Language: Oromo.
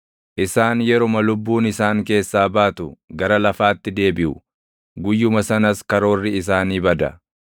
Isaan yeruma lubbuun isaan keessaa baatu gara lafaatti deebiʼu; guyyuma sanas karoorri isaanii bada.